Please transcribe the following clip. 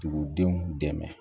Dugudenw dɛmɛ